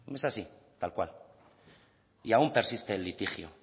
es así tal cual y aún persiste el litigio